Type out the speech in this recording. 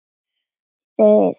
Þreifar alveg ofan í hann.